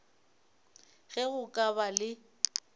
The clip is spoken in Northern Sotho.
ge go ka ba le